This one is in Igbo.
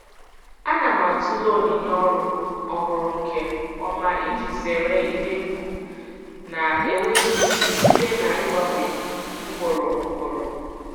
Ana m atụle onyinye ọrụ ọhụrụ nke ọma iji zere ihe egwu na-enweghị isi site n'ịgbanwe ugboro ugboro.